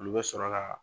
Olu bɛ sɔrɔ ka